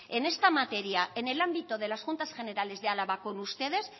en esta materia en el ámbito de en las juntas general de álava con ustedes